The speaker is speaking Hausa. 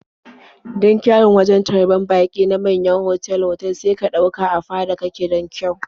Don kyawun wajen taryar baƙi na manyan otal-otak sai ka ɗauka a fada kake don kyau.